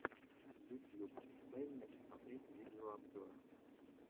ютьюб дай мне посмотреть видеообзоры